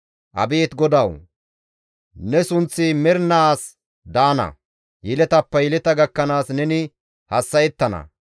Abeet GODAWU! Ne sunththi mernaas daana; yeletappe yeleta gakkanaas neni hassa7ettana.